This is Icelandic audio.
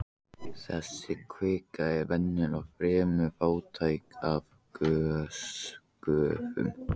Þessi kvika er venjulega fremur fátæk af gosgufum.